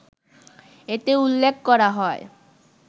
এতে উল্লেখ করা হয়